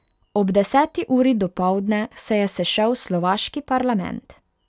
Ob deseti uri dopoldne se je sešel slovaški parlament.